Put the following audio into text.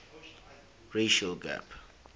racial gap